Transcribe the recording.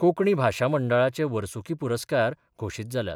कोकणी भाशा मंडळाचे वर्सुकी पुरस्कार घोशित जाल्यात.